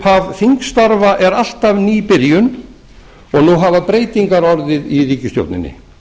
upphaf þingstarfa er alltaf ný byrjun og nú hafa breytingar orðið í ríkisstjórninni